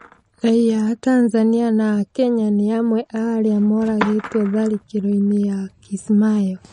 Raiya atanzania na akenya nĩ amwe aarĩa mũragĩtwo tharĩkĩro-inĩ ya Kismayo